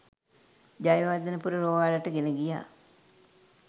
ජයවර්ධනපුර රෝහලට ගෙන ගියා